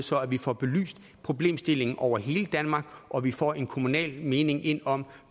så vi får belyst problemstillingen over hele danmark og så vi får en kommunal mening ind om